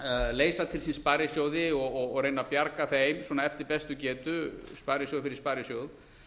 leysa til sín sparisjóði og reyna að bjarga þeim svona eftir bestu getu sparisjóð fyrir sparisjóð